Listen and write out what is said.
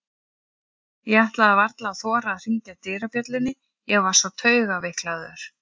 Ég ætlaði varla að þora að hringja dyrabjöllunni, ég var svo taugaveiklaður.